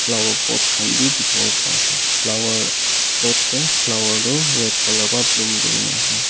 flower pot khan bhi dikhibo pa ase flower pot teh flower tu red colour pra bloom kuri na ase.